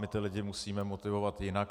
My ty lidi musíme motivovat jinak.